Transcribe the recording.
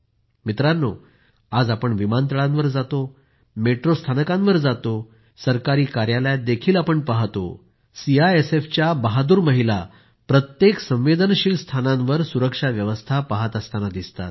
मित्रांनो आज आपण विमानतळांवर जातो मेट्रो स्थानकांवर जातो किंवा सरकारी कार्यालयातही पाहतो सीआयएसएफच्या बहादूर महिला प्रत्येक संवेदनशील स्थानांवर सुरक्षा व्यवस्था पहात असताना दिसतात